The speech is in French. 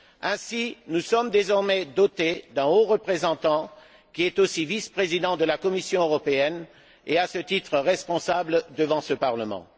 Ainsi, nous sommes désormais dotés d'un haut représentant, qui est aussi vice président de la Commission européenne et, à ce titre, responsable devant ce Parlement.